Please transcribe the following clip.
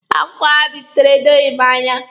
Akwụkwọ ha bipụtara edoghị m anya.